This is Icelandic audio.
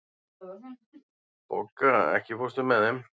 Bogga, ekki fórstu með þeim?